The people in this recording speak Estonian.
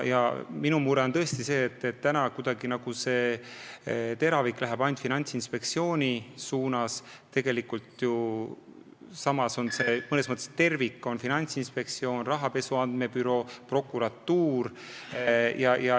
Ka mina olen mures, et kogu see teravik on suunatud nagu ainult Finantsinspektsiooni poole, kuigi selles mõttes terviku moodustavad Finantsinspektsioon, rahapesu andmebüroo ja prokuratuur.